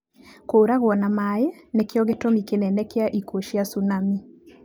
Kũragwo nĩ maĩ nĩkĩo gĩtũmi kĩnene kĩa ikuũ cia cunami.